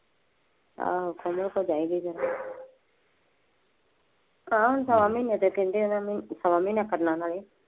ਆਹੋ ਕਮਲ ਕੋਲ ਚਾਹੀਦੀ ਸੀ, ਤਾਂ ਵੀ ਸ਼ਵਾ ਮਹੀਨੇ ਦਾ ਕਹਿੰਦੇ ਹੈ ਨਾ ਉਨ੍ਹਾ ਨੇ ਸ਼ਵਾ ਮਹੀਨੇ ਕਰਨਾ ਨਾਲੇ